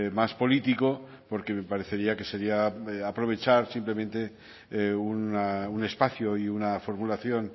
más político porque me parecería que sería aprovechar simplemente un espacio y una formulación